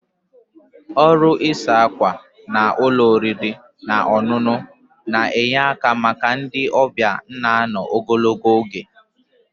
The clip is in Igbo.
Ọrụ ịsa ákwà na ụlọ oriri na ọṅụṅụ na-enye aka maka ndị ọbịa na ano ogologo oge.